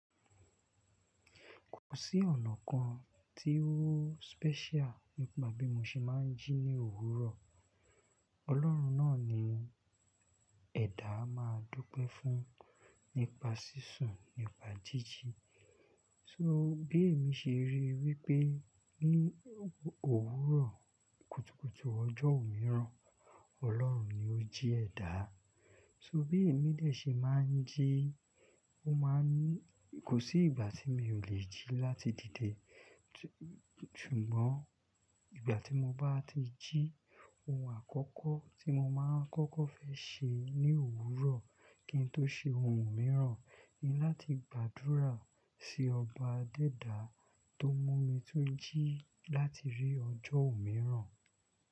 Kò sí ọ̀nà kan tí ó special nípa bí mo ṣe máa ń jí ní òwúrọ̀. Ọlọ́run náà ni ẹ̀dà á máa dúpẹ́ fún nípa sísùn, nípa jíjí. So bí èmi ṣe rí i wípé ní òwúrọ̀ kùtùkùtù ọjọ́ òmíràn, Ọlọ́run ni ó jí ẹ̀dá. So bí èmi lè ṣe máa ń jí, kò sí ìgbà tí mi ò lè jí láti dìde. Ṣùgbọ́n ìgbà tí mo bá ti jí, ohun àkọ́kọ́ tí mo máa ń kọ́kọ́ fẹ́ ṣe ní òwúrọ̀ kí n tó ṣe ohun mìíràn ni láti gbàdúrà sí ọba adẹ́dàá tó mú mi tún jí láti rí ọjọ́ òmíràn.